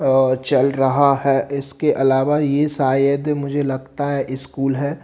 अ चल रहा है इसके अलावा ये शायद मुझे लगता है स्कूल है।